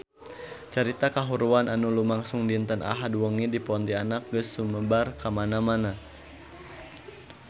Carita kahuruan anu lumangsung dinten Ahad wengi di Pontianak geus sumebar kamana-mana